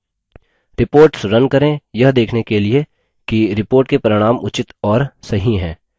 reports run करें यह देखने के लिए कि reports के परिणाम उचित और सही हैं